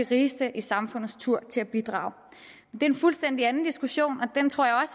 rigeste i samfundets tur til at bidrage det er en fuldstændig anden diskussion og den tror jeg